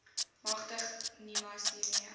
magtig nimas hiermee